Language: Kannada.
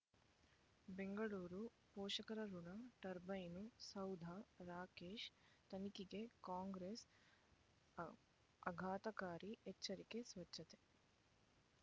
ಬೆಂಗಳೂರು ಪೋಷಕರಋಣ ಟರ್ಬೈನು ಸೌಧ ರಾಕೇಶ್ ತನಿಖೆಗೆ ಕಾಂಗ್ರೆಸ್ ಆಘಾ ಆಘಾತಕಾರಿ ಎಚ್ಚರಿಕೆ ಸ್ವಚ್ಛತೆ